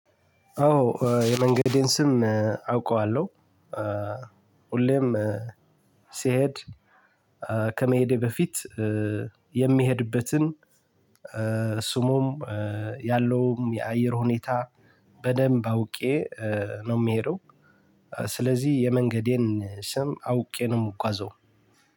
አዎ የመንገዴን ስም አውቀዋለሁ ሁሌም ሲሄድ ከመሄዴ በፊት የሚሄድበትን ስሙም ያለውም የአየር ሁኔታ በደንብ አውቄ ነው የምሄደው። ስለዚህ የመንገዴን ስም አውቄ ነው የምጓዘው።